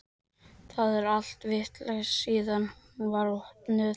Það er allt vitlaust síðan hún var opnuð.